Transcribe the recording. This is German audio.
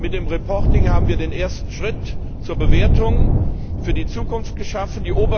Mit der Berichterstattung haben wir den ersten Schritt zur Bewertung für die Zukunft geschaffen.